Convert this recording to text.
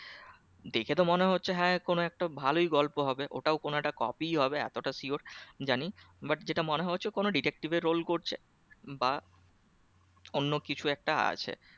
দেখে তো মনে হচ্ছে হ্যাঁ কোন একটা ভালোই গল্প ওটা কোন একটা copy হবে এতটা sure জানি but যেটা মনে হচ্ছে কোন detective এর role করছে বা অন্য কিছু একটা আছে